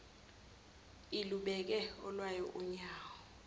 ilubeke olwayo unyawo